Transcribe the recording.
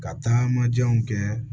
Ka taama janw kɛ